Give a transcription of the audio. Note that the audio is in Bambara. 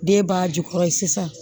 Den b'a jukɔrɔ sisan